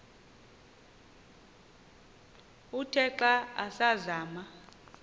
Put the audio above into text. uthe xa asazama